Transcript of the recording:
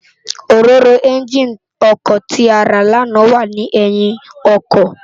Óróró ènjiní òkò ti àrá làná wà ni èyín òkò